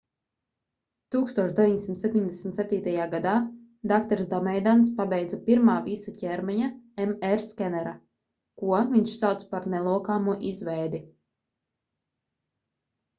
1977. gadā dr dameidians pabeidza pirmā visa ķermeņa mr skenera ko viņš sauca par nelokāmo izveidi